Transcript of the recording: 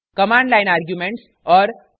* command line arguments और